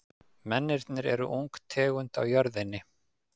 Mennirnir eru ung tegund á jörðinni.